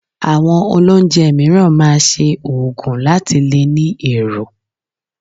Àwọn olóunjẹ mìíràn máa ṣe òògùn láti lè ní èrò